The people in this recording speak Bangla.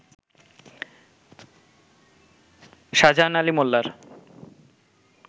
শাজাহান আলী মোল্লার